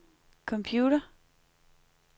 computer